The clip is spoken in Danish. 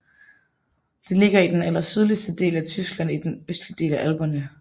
Det ligger i den allersydligste del af Tyskland i den østlige del af Alperne